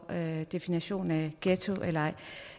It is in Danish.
definitionen af ghetto eller ej